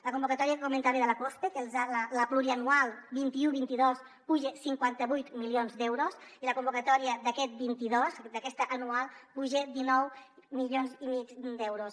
la convocatòria que comentava de la cospe la pluriennal vint un vint dos puja cinquanta vuit milions d’euros i la convocatòria d’aquest vint dos d’aquesta anual puja dinou milions i mig d’euros